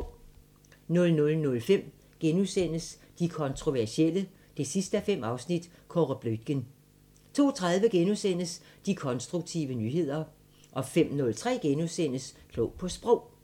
00:05: De kontroversielle 5:5 – Kåre Bluitgen * 02:30: De konstruktive nyheder * 05:03: Klog på Sprog *